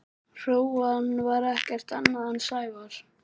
Hrúgan var ekkert annað en Sævar.